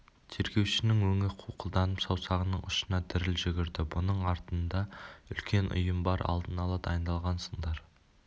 тергеушінің өңі қуқылданып саусағының ұшына діріл жүгірді бұның артында үлкен ұйым бар алдын ала дайындалғансыңдар